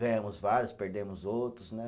Ganhamos vários, perdemos outros, né?